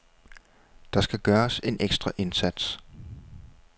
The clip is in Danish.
Der skal gøres en ekstra indsats.